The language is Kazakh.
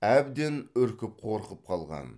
әбден үркіп қорқып қалған